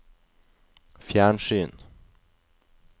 fjernsyn